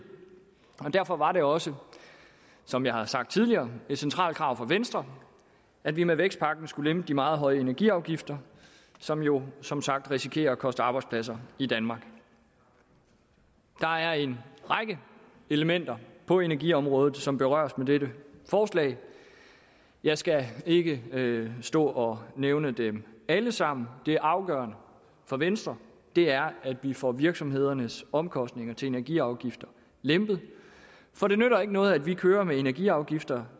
derfor var det også som jeg har sagt tidligere et centralt krav fra venstre at vi med vækstpakken skulle lempe de meget høje energiafgifter som jo som sagt risikerer at koste arbejdspladser i danmark der er en række elementer på energiområdet som berøres med dette forslag jeg skal ikke stå og nævne dem alle sammen det afgørende for venstre er at vi får virksomhedernes omkostninger til energiafgifter lempet for det nytter ikke noget at vi kører med energiafgifter